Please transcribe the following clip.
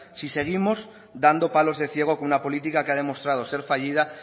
si seguimos dando palos de ciego con una política que ha demostrado ser fallida